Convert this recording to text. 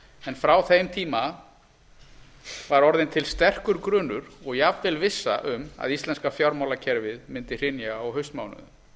en frá þeim tíma var orðinn til sterkur grunur og jafnvel vissa um að íslenska fjármálakerfið mundi hrynja á haustmánuðum